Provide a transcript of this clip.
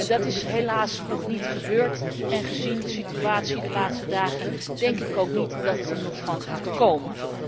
Dat is helaas nog niet gebeurd en gezien de situatie de laatste dagen denk ik ook niet dat het er nog van gaat komen.